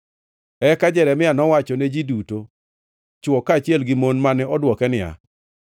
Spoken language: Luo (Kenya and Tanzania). Eka Jeremia nowachone ji duto, chwo kaachiel gi mon, mane dwoke niya,